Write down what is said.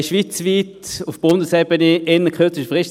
Wir haben schweizweit auf Bundesebene innert kürzester Frist